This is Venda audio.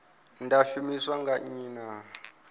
ḽa shumiswa nga nnyi na